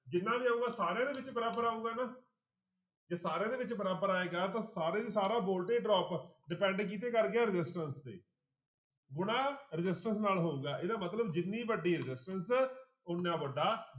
ਜਿੰਨਾ ਵੀ ਆਊਗਾ ਸਾਰਿਆਂ ਦੇ ਵਿੱਚ ਬਰਾਬਰ ਆਊਗਾ ਨਾ ਜੇ ਸਾਰਿਆਂ ਦੇ ਵਿੱਚ ਬਾਰਬਰ ਆਏਗਾ ਤਾਂ ਸਾਰੇ ਦਾ ਸਾਰਾ voltage drop depend ਕਿਹਦੇ ਤੇ ਕਰ ਗਿਆ resistance ਤੇ ਗੁਣਾ resistance ਨਾਲ ਹੋਊਗਾ ਇਹਦਾ ਮਤਲਬ ਜਿੰਨੀ ਵੱਡੀ resistance ਓਨਾ ਵੱਡਾ